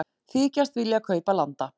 Þykjast vilja kaupa landa